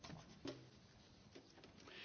Herr Präsident, Frau Kommissarin!